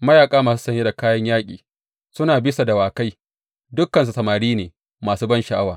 mayaƙa masu saye da kayan yaƙi, suna bisa dawakai, dukansu samari ne masu bansha’awa.